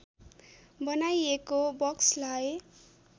बनाइएको बक्सलाई